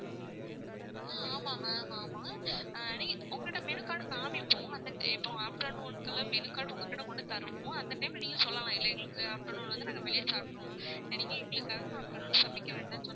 ஆஹ் ஆமா ma'am ஆமா நீங்க உங்க கிட்ட menu card காமிப்போம். இப்போ afternoon குள்ள menu card உங்க கிட்ட வந்து தருவோம். அந்த time ல நீங்க சொல்லலாம். இன்னைக்கு afternoon வந்து நாங்க வெளிய சாப்பிட்டுருவோம் நீங்க எங்களுக்காக afternoon சமைக்க வேண்டாம்னு சொன்னா,